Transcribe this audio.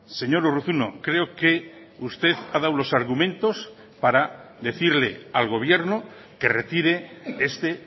señor urruzuno creo que usted ha dado los argumentos para decirle al gobierno que retire este